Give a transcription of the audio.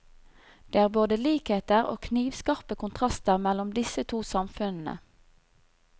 Det er både likheter og knivskarpe kontraster mellom disse to samfunnene.